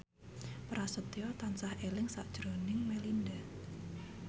Prasetyo tansah eling sakjroning Melinda